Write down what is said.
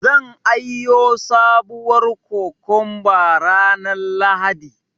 San aiyo sabuwar kokomba ranar Lahadi.